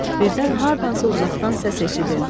Birdən hardansa uzaqdan səs eşidildi.